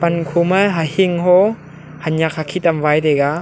pan khoma hahingho hanyak hakhit am wai taiga.